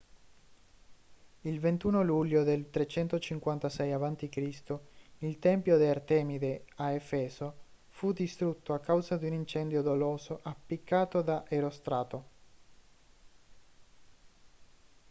il 21 luglio del 356 a.c. il tempio di artemide a efeso fu distrutto a causa di un incendio doloso appiccato da erostrato